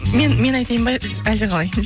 мен мен айтайын ба әлде қалай